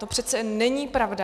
To přece není pravda.